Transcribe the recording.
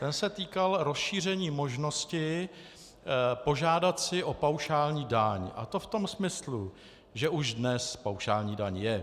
Ten se týkal rozšíření možnosti požádat si o paušální daň, a to v tom smyslu, že už dnes paušální daň je.